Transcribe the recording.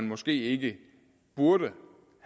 måske ikke burde